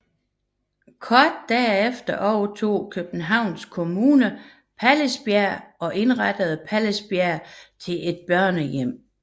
Kort derefter overtog Københavns Kommune Pallisbjerg og indrettede Pallisbjerg til et børnehjem